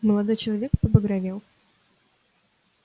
молодой человек побагровел